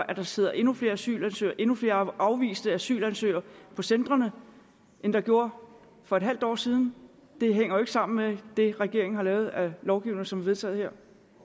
at der sidder endnu flere asylansøgere endnu flere afviste asylansøgere på centrene end der gjorde for et halvt år siden det hænger ikke sammen med det regeringen har lavet af lovgivning som er vedtaget her